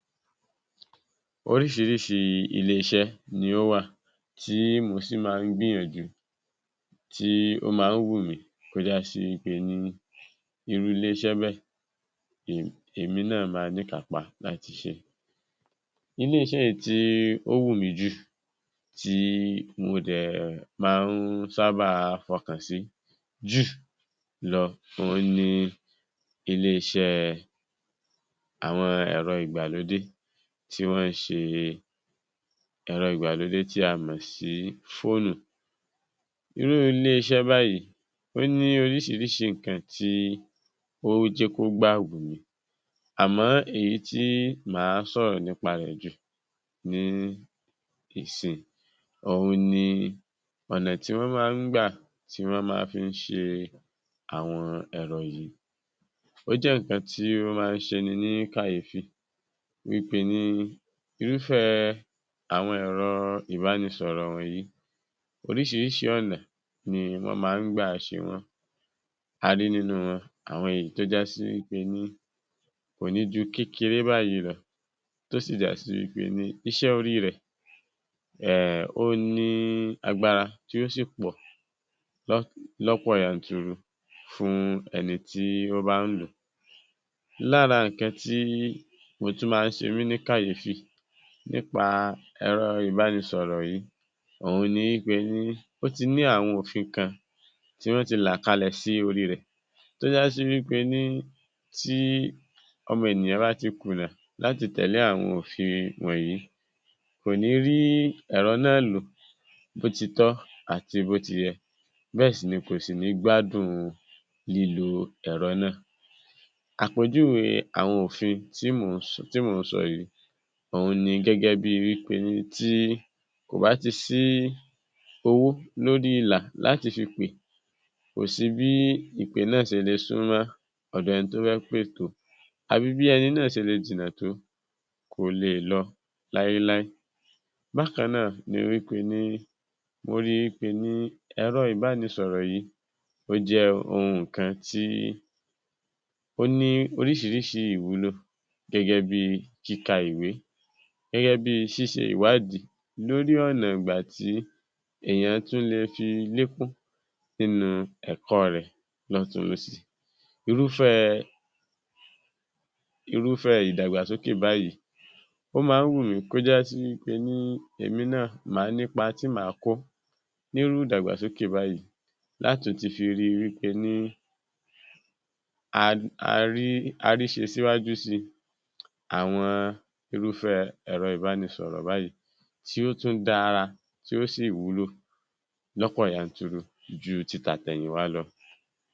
Oríṣìíríṣìí ilé iṣẹ́ ni ó wà tí mò sì ń máa ń gbìyànjú, tí ó máa ń wù mí kó jásí wí pé ní irú ilé iṣẹ́ bẹ́ẹ̀ è èmi náà ma níkàápá láti ṣeé. Ilé-isẹ́ èyí tí ó wù mí jù tí mo dẹ̀ máa ń sáábà fọkàn sí jù lọ òhun ni ilé-iṣẹ́ àwọn ẹ̀rọ ìgbàlódé tí wọ́n ṣe ẹ̀rọ ìgbàlódé tí a mọ̀ sí fóònù. Irú ilé-iṣẹ́ báyìí, ó ní oríṣìíríṣìí nǹkan tí ó jẹ́ kó gbà wù mí, àmọ́ èyí tí máa sọ̀rọ̀ nípa rẹ jù ní ìsìn òhun ni ọ̀nà tí wọ́n máa ń gbà tí wọ́n máa ń fi ṣe àwọn ẹ̀rọ yìí. Ó jẹ́ nǹkan tí ó máa ń ṣeni ní kàyéfì wí pé ní Irúfẹ́ àwọn ẹ̀rọ ìbánisọ̀rọ̀ wọ̀nyìí, oríṣìíríṣìí ọ̀nà ni wọ́n máa ń gbà ṣe wọ́n. A rí nínú wọn, àwọn èyí tó jásí wí pé ní kò ní ju kékeré báyìí lọ tó sì jásí wí pé ní iṣẹ́ orí rẹ̀, um ó ní agbára tí yóò sì pọ̀ lọ́, lọ́pọ̀ yanturu fún ẹni tí ó bá ń lò ó. Lára nǹkan tí mo tún máa ń ṣe mí ní kàyéfì nípa ẹ̀rọ ìbánisọ̀rọ̀ yìí, òhun ni wí pé ní ó ti ní àwọn òfin kan tí wọ́n ti là kalẹ̀ sí orí rẹ̀ tó jásí wí pé ní tí ọmọ ènìyàn bá ti kùnà láti tẹ̀lé àwọn òfin wọ̀nyìí, kò ní rí ẹ̀rọ náà lò bó ti tọ́ àti bó ti yẹ. Bẹ́ẹ̀ sì ni kò sì ní gbádùn lílo ẹ̀rọ náà. Àpèjúwe àwọn òfin tí mò ń sọ, tí mò ń sọ yìí òhun ni gẹ́gẹ́ bíi wí pé ní tí kò bá ti sí owó lórí ìlà láti fi pè, kò sí bí ìpè náà ṣe le súnmọ́ ọ̀dọ̀ ẹni tó fẹ́ pè tó, àbí bí ẹni náà ṣe le jìnà tó, kò leè lọ láéláé. Bákan náà ni wí pé ní mo ríi wí pé ní ẹ̀rọ ìbánisọ̀rọ̀ yìí ó jẹ́ ohun kan tí ó ní oríṣìíríṣìí ìwúlò gẹ́gẹ́ bíi kíka ìwé, gẹ́gẹ́ bíi ṣíṣe ìwádìí lórí ọ̀nà ìgbà tí èèyàn tún le fi lékún nínú ẹ̀kọ́ rẹ̀ lọ́tùn-ún lósì. Irúfẹ́ẹ, Irúfẹ́ ìdàgbàsókè báyìí, ó máa ń wù mí kó jásí wí pé ní èmi náà màá nípa tí màá kó nírú ìdàgbàsókè báyìí látùn-ún fi rí wí pé ní a, a rí, a rí ṣe síwájú síi àwọn Irúfẹ́ ẹ̀rọ ìbánisọ̀rọ̀ báyìí tí ó tún dára, tí ó sì wúlò lọ́pọ̀ yanturu ju ti tàtẹ̀yìnwá lọ.